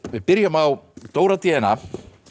við byrjum á Dóra d n a